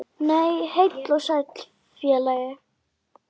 Nei, heill og sæll félagi!